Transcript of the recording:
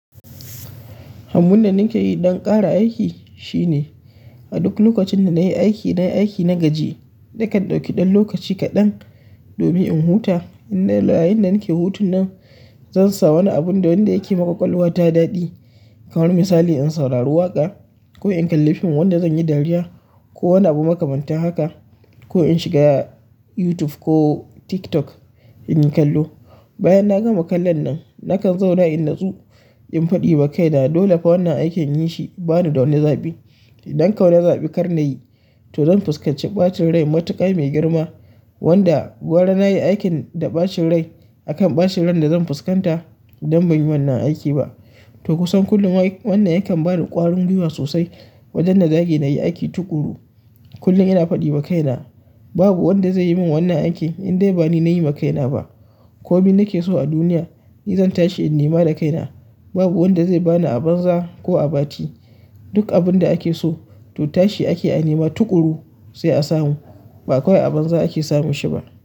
Abunda nakeyi don ƙara aiki shine a duk lokacin da na yi aiki na gaji, nakan ɗauki ɗan lokaci kaɗan domin in huta. Inda yayinda nake hutun nan, zan sa wani abun da wanda yake ma ƙwaƙwalwa ta daɗe. Kamar misali in saurari waƙa ko in kalli fim wanda zan yi dariya ko wani abu makamanta haka. Ko in shiga YouTube ko TikTok in yi kallo. Bayan na gama kallon nan, nakan zauna in nasu in faɗi ma kaina dole fa wannan aikin inyi shi bani da wani zaɓi. Idan kau na zaɓi kar na yi, to zan fuskanci ɓacin rai matuƙa mai girma. Wanda gwara nayi aikin da ɓacin rai akan ɓacin ran da zan fuskanta idan ban yi wannan aiki ba. To kusan kullum ai wannan yakan bani ƙwarin gwiwa sosai. Wajen da zage na yi aiki tuƙuru, kullum ina faɗi ma kaina babu wanda zai yi min wannan aiki indai bani na yi ma kaina ba. Komi nake so a duniya ni zan tashi in nema da kaina. Babu wanda zai bani a banza ko a bati. Duk abun da ake so to tashi ake a nema tuƙuru sai a samu. Ba kawai a banza ake samun shi ba.